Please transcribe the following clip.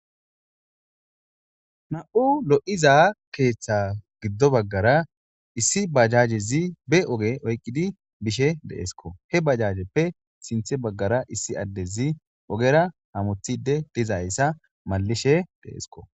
Na7u lo7iza keeththa giddo baggara issi bajajezi be oge oyqqidi bishe deeesko he bajajeppe sinthe baggara issi addezi ogera hamothide dizayssa malishe deeesko